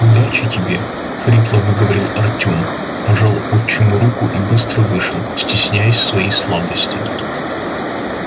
удачи тебе хрипло выговорил артём пожал отчиму руку и быстро вышел стесняясь своей слабости